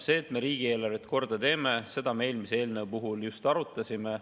Seda, et me riigieelarvet korda teeme, me eelmise eelnõu puhul just arutasime.